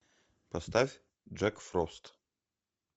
поставь джек фрост